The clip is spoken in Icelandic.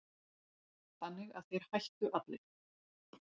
Þannig að þeir hættu allir.